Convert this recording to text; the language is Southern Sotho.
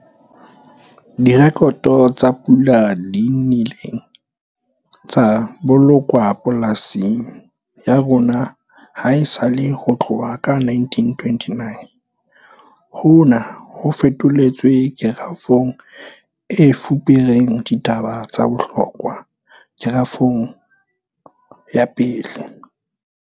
Direkoto tsa pula di nnile tsa bolokwa polasing ya rona ha esale ho tloha ka 1929. Hona ho fetoletswe kerafong e fupereng ditaba tsa bohlokwa, kerafong ya 1.